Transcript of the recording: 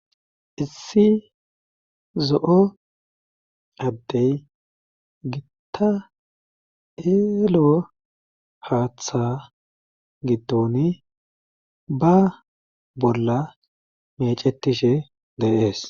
issi zo7o addey gitta eelo haaththa gitoni ba bolla mecetishe deees